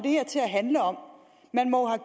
handle om man må